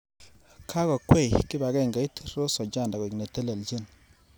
Kakokwei kipakengeit Rose Ochanda koek netelejin.